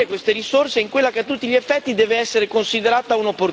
in quella che a tutti gli effetti deve essere considerata un'opportunità.